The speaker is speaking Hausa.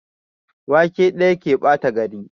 Wake ɗaya ke ɓata gari.